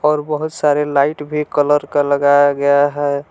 और बहुत सारे लाइट भी कलर का लगाया गया है।